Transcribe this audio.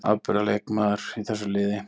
Afburðar leikmaður í þessu liði.